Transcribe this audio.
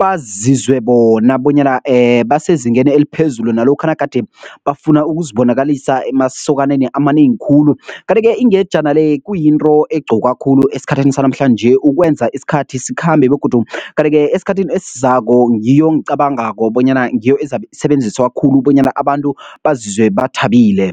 bazizwe bona bonyana basezingeni eliphezulu nalokha nagade bafuna ukuzibonakalisa emasokaneni amanengi khulu, kanti-ke ingejana le kuyinto egqokwa khulu esikhathini sanamhlanje ukwenza isikhathi sikhambe begodu, kanti-ke esikhathini esizako ngiyo engicabangako bonyana ngiyo ezabe isebenziswa khulu bonyana abantu bazizwe bathabile.